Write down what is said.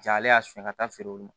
Ja ale y'a sonya ka taa feere olu ma